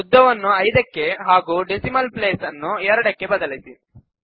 ಉದ್ದವನ್ನು 5 ಕ್ಕೆ ಹಾಗೂ ಡೆಸಿಮಲ್ ಪ್ಲೇಸ್ ನ್ನು 2 ಕ್ಕೆ ಬದಲಿಸಿ